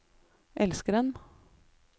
elskeren